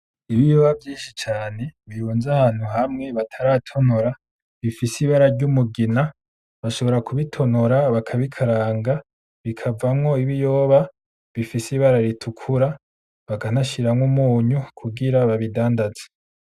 Ibiyoba vyinshi cane birunze ahantu hamwe bataratonora bifise ibara ry'umugina, bashobora kubitonora bakabikaranga bikavamwo ibiyoba bifise ibara ritukura bakanashiramwo umunyu kugira babidandaze.